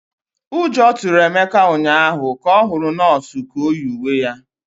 Ụjọ tụrụ Emeka ụnyahụ ka ọ hụrụ nọọsụ ka o yi uwe ya